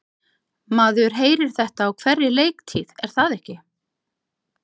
Maður heyrir þetta á hverri leiktíð er það ekki?